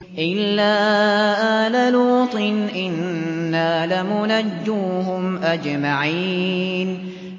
إِلَّا آلَ لُوطٍ إِنَّا لَمُنَجُّوهُمْ أَجْمَعِينَ